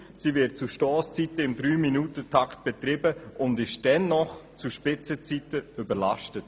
sie wird zu Stosszeiten im 3-Minuten-Takt betrieben und ist zu Spitzenzeiten dennoch überlastet.